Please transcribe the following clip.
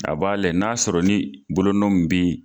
A b'a lɛ, n'a sɔrɔ ni bolonɔ min be